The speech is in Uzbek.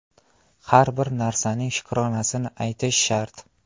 Har bir narsaning shukronasini aytish shart.